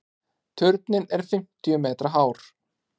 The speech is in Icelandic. Turninn er fimmtíu metra hár.